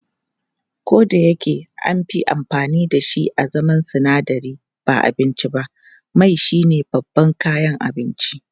Kodayake anfi amfani dashi a zaman sinadari ba abinci ba, mai shine babban kayan abinci.